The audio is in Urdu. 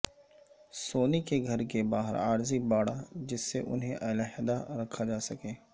سونی کے گھر کے باہر عارضی باڑا جس سے انھیں علیحدہ رکھا جا سکے